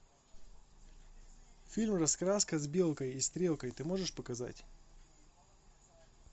фильм раскраска с белкой и стрелкой ты можешь показать